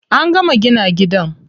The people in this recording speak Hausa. An gama gina gidan.